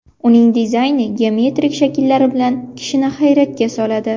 Uning dizayni geometrik shakllari bilan kishini hayratga soladi.